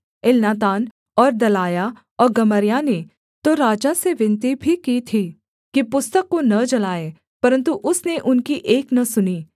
Elnathan और Delaiah और Gemariah ने तो राजा से विनती भी की थी कि पुस्तक को न जलाए परन्तु उसने उनकी एक न सुनी